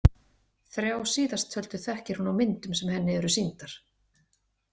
Þrjá síðasttöldu þekkir hún á myndum sem henni eru sýndar.